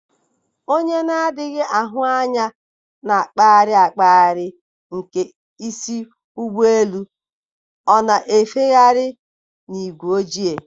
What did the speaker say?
na onye na-adịghị ahụ n'anya na-akpali akpali nke isi n'ụgbọelu, na-efegharị n'ígwé ojii?